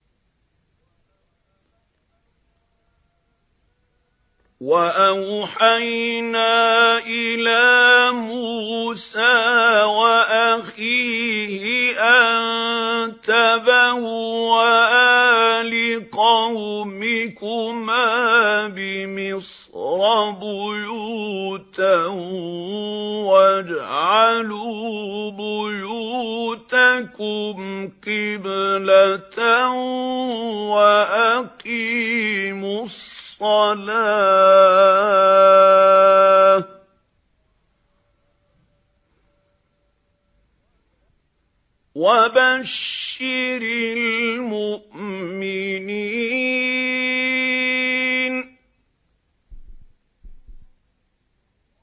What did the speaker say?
وَأَوْحَيْنَا إِلَىٰ مُوسَىٰ وَأَخِيهِ أَن تَبَوَّآ لِقَوْمِكُمَا بِمِصْرَ بُيُوتًا وَاجْعَلُوا بُيُوتَكُمْ قِبْلَةً وَأَقِيمُوا الصَّلَاةَ ۗ وَبَشِّرِ الْمُؤْمِنِينَ